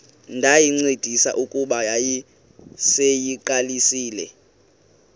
ndayincedisa kuba yayiseyiqalisile